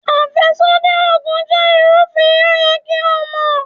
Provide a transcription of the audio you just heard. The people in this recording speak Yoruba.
Àfẹ́sódì Ògùn jẹ́ ìrúfin, ó yẹ kí o mọ̀.